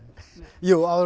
jú áður